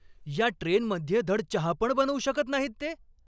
या ट्रेनमध्ये धड चहा पण बनवू शकत नाहीत ते!